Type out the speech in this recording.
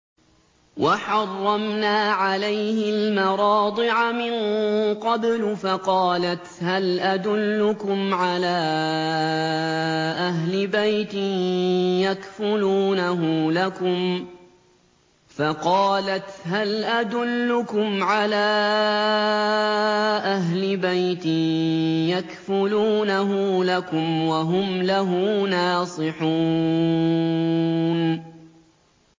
۞ وَحَرَّمْنَا عَلَيْهِ الْمَرَاضِعَ مِن قَبْلُ فَقَالَتْ هَلْ أَدُلُّكُمْ عَلَىٰ أَهْلِ بَيْتٍ يَكْفُلُونَهُ لَكُمْ وَهُمْ لَهُ نَاصِحُونَ